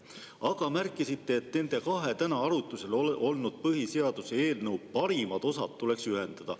Aga te märkisite, et nende kahe täna arutusel oleva põhiseaduse eelnõu parimad osad tuleks ühendada.